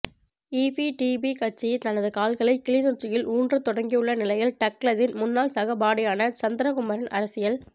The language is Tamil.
ஈபிடிபி கட்சி தனது கால்களை கிளிநொச்சியில் ஊன்ற தொடங்கியுள்ள நிலையில் டக்ளஸின் முன்னாள் சகபாடியான சந்திரகுமாரின் அரசியல்